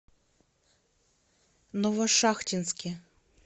новошахтинске